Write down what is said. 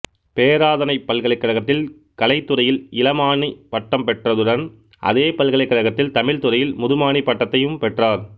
பேராதனைப் பல்கலைக்கழகத்தில் கலைத்துறையில் இளமாணிப் பட்டம் பெற்றதுடன் அதே பல்கலைக்கழகத்தில் தமிழ்த் துறையில் முதுமாணிப் பட்டத்தையும் பெற்றார்